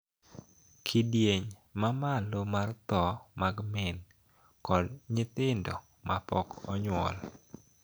Kidieny ma malo mar tho mag min kod nyithindo ma pok onyuol